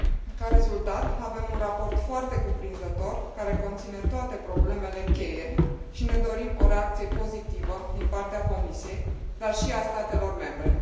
Ca rezultat, avem un raport foarte cuprinzător, care conține toate problemele cheie și ne dorim o reacție pozitivă din partea Comisiei, dar și a statelor membre.